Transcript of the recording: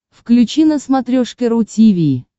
включи на смотрешке ру ти ви